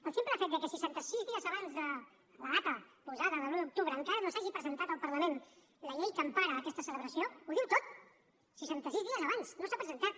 el simple fet que seixanta sis dies abans de la data posada de l’un d’octubre encara no s’hagi presentat al parlament la llei que empara aquesta celebració ho diu tot seixanta sis dies abans no s’ha presentat